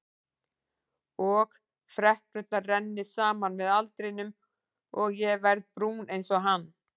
Og freknurnar renni saman með aldrinum og ég verði brún einsog hann.